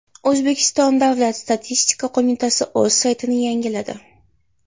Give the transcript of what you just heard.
O‘zbekiston Davlat statistika qo‘mitasi o‘z saytini yangiladi.